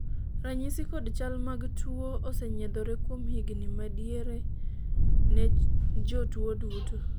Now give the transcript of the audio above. ranyisi kod chal mag tuo osenyiedhore kuom higni madiere ne jotuo duto